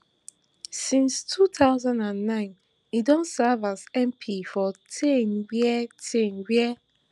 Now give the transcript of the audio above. since two thousand and nine im don serve as mp for tain wia tain wia